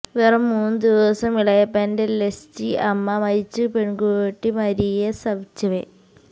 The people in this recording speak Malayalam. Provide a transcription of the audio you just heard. വെറും മൂന്നു ദിവസം ഇളയപ്പന്റെ ലെസ്ഛി അമ്മ മരിച്ചു പെൺകുട്ടി മരിയ സവിഛെവ